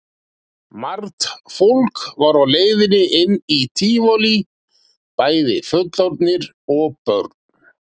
Margt fólk var á leiðinni inn í Tívolí, bæði fullorðnir og börn.